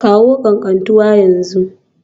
Kawo Katantanwa a yanzu